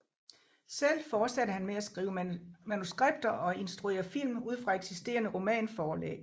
Selv fortsatte han med at skrive manuskripter og instruere film ud fra eksisterende romanforlæg